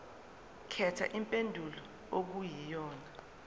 khetha impendulo okuyiyona